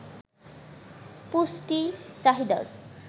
পুষ্টি চাহিদার